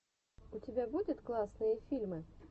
у тебя будет классные фильмы